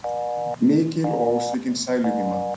Mikil og ósvikin sæluvíma.